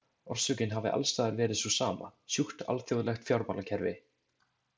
Orsökin hafi alls staðar verið sú sama, sjúkt alþjóðlegt fjármálakerfi.